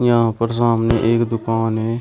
यहां पर सामने एक दुकान है।